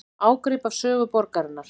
Ágrip af sögu borgarinnar